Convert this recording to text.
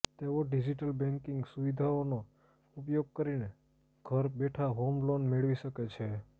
તેઓ digital banking સુવિધાઓનો ઉપયોગ કરીને ઘર બેઠાં હોમ લોન મેળવી શકે છે